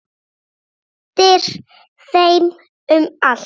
Hún hendir þeim um allt.